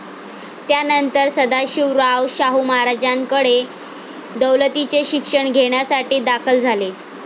त्यानंतर सदाशिवराव शाहू महाराजांकडे दौलतीचे शिक्षण घेण्यासाठी दाखल झाले.